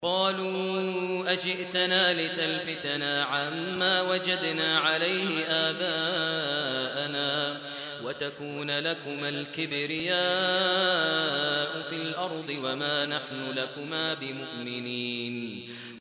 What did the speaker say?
قَالُوا أَجِئْتَنَا لِتَلْفِتَنَا عَمَّا وَجَدْنَا عَلَيْهِ آبَاءَنَا وَتَكُونَ لَكُمَا الْكِبْرِيَاءُ فِي الْأَرْضِ وَمَا نَحْنُ لَكُمَا بِمُؤْمِنِينَ